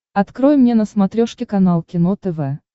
открой мне на смотрешке канал кино тв